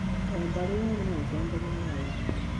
O Mbarĩ yarĩ na utongoria wayo